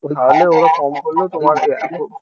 তাহলে ওরা কম করলেও তোমার যে এত